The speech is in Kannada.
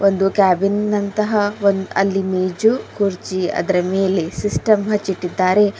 ಒಂದು ಕ್ಯಾಬಿನ್ ಅಂತಹ ಒಂದ್ ಅಲ್ಲಿ ಒಂದು ಮೇಜು ಕುರ್ಚಿ ಅದರ ಮೇಲೆ ಸಿಸ್ಟಮ್ ಹಚ್ಚಿಟ್ಟಿದ್ದಾರೆ.